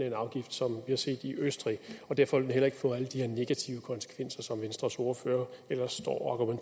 en afgift som vi har set i østrig og derfor vil vi heller ikke få alle de her negative konsekvenser som venstres ordfører ellers står